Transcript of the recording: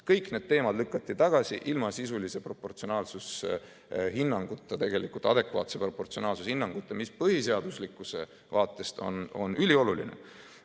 Kõik need teemad lükati tagasi ilma sisulise proportsionaalsushinnanguta, adekvaatse proportsionaalsushinnanguta, mis põhiseaduslikkuse vaatest on ülioluline.